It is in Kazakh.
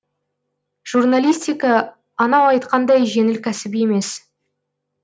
журналистика анау айтқандай жеңіл кәсіп емес